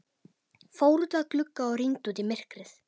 Fór út að glugga og rýndi út í myrkrið.